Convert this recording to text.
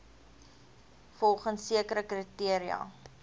volgens sekere kriteria